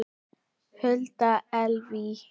Hulda Elvý.